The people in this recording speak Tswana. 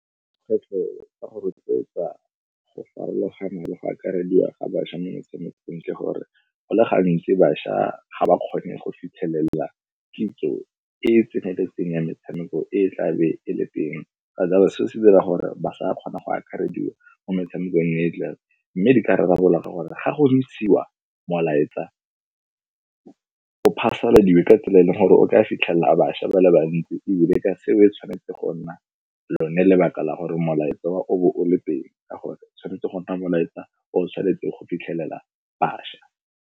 Kgwetlho ka go rotloetsa go farologana le go akarediwa ga bašwa mo metshamekong, ke gore go le gantsi bašwa ga ba kgone go fitlhelela kitso e e tseneletseng ya metshameko e e tlabe e le teng. Ka jalo seo se dira gore ba sa kgona go akarediwa mo metshamekong e e tlang mme di ka rarabololwa ka gore ga go ntshiwa molaetsa o o phasaladiwa ka tsela e leng gore o ka a fitlhelela a bašwa ba le bantsi ebile ka seo e tshwanetse go nna lone lebaka la gore molaetsa o bo o le teng, ka gore tshwanetse go nna molaetsa o tshwanetse go fitlhelela bašwa.